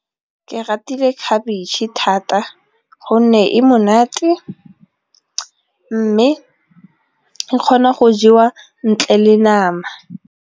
Ke ratile khabetšhe thata gonne e monate mme e kgona go jewa ntle le nama.